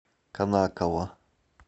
конаково